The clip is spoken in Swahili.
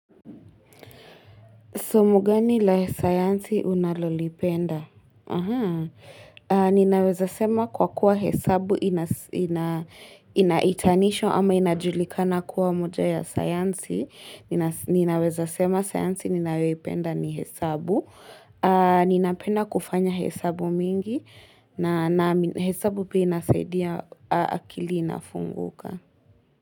Somo gani la science unalolipenda? Ninaweza sema kwa kuwa hesabu inaitanisho ama inajulikana kuwa moja ya science. Ninaweza sema science ninayoipenda ni hesabu. Ninapenda kufanya hesabu mingi na hesabu pia inasaidia akili inafunguka.